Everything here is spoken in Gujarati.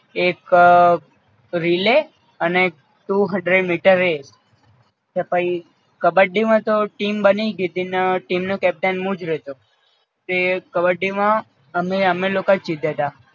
એક રિલે અને ટુ હન્ડ્રેડ મીટર રેહ તે પઈ કબ્બડી માં તો ટીમ બની ગઈ તી અન ટીમ નો કેપ્ટન હું જ રયોતો તે કબ્બડી માં અમે અમે લોકો જ જીત્યા તા